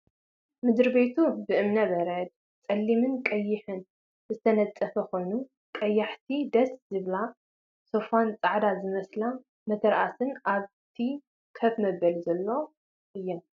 ምድሪ ቤቱ ብእምነ በረድ ፀሊሚን ቀይሕን ዝተነፀፈ ኮይኑ ቀያሕቲ ደስ ዝብላ ሶፋን ፃዕዳ ዝመስላ መተርኣስ ኣብቲ ከፍ መበሊ ዘለዎ እየን።